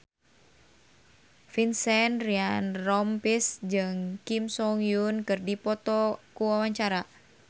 Vincent Ryan Rompies jeung Kim So Hyun keur dipoto ku wartawan